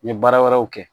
N ye baara wɛrɛw kɛ